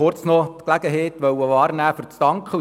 der SiK. Ich will die Gelegenheit wahrnehmen, zu danken.